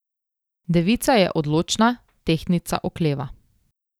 Devica je odločna, tehtnica okleva.